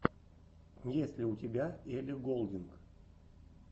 есть ли у тебя элли голдинг